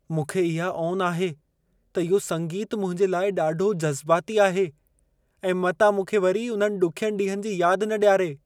मूंखे इहा ओन आहे त इहो संगीतु मुंहिंजे लाइ ॾाढो जज़्बाती आहे ऐं मतां मूंखे वरी उन्हनि ॾुखियनि ॾींहनि जी यादि न ॾियारे।